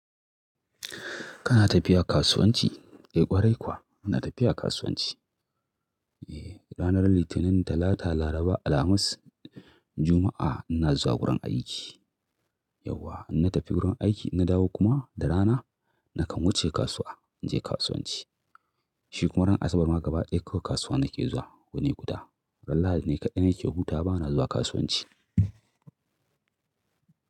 Kana tafiya kasuwanci? Eh ƙwarai kuwa ina tafiya kasuwanci. Eh ranar Litinin, Talata, Laraba, Alhamis, Juma'a ina zuwa wurin aiki. Yauwa in na tafi wurin aiki in na dawo kuma da rana nakan wuce kasuwa in je kasuwanci. Shi kuma ran Asabar ma gaba ɗaya kawai kasuwa nake zuwa yini guda. Ran Lahadi ne kaɗai nake hutawa bana zuwa kasuwanci.